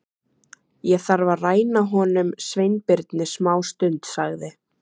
Ég þarf að ræna honum Sveinbirni smástund sagði